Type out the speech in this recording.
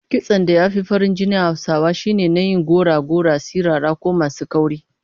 Kitson da ya fi farin jini a Hausawa shine na yin gora-gora, sirara ko masu kauri